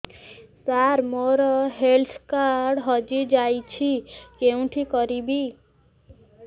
ସାର ମୋର health card ହଜି ଯାଇଛି କେଉଁଠି କରିବି